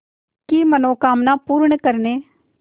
की मनोकामना पूर्ण करने